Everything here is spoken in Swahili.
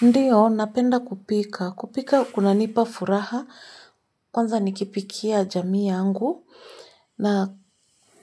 Ndiyo, napenda kupika. Kupika kunanipa furaha, kwanza nikipikia jamii yangu, na